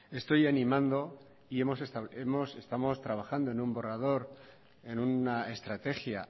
estoy animando y estamos trabajando en un borrador en una estrategia